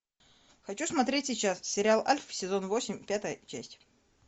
хочу смотреть сейчас сериал альф сезон восемь пятая часть